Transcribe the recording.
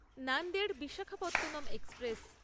Nanded Visakhapatnam express